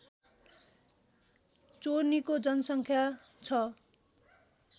चोर्नीको जनसङ्ख्या छ